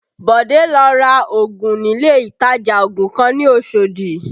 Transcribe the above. Bode lọ ra ògùn nílé ìtajà ògùn kan ní Oshodi